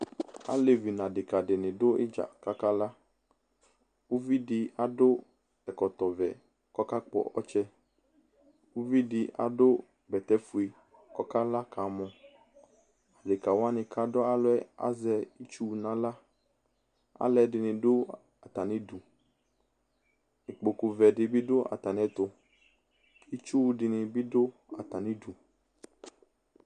alevi nʋ adeka dʋ idza kakala ʋvidi adʋ ɔkɔtɔvɛ kʋ ɔkakpɔ ɔtsɛ ʋvidi adʋ bɛtɛƒʋe kʋ ɔkala kamɔ adeka wani kadʋ alɔɛ azɛ itsʋ naɣla alʋɛdini dʋ atanidʋ ikpokʋvɛ dibi dʋ ataniɛtʋ itsʋdini dʋ atanidʋ